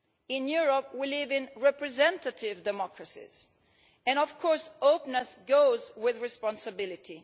In Europe, we live in representative democracies and, of course, openness goes with responsibility.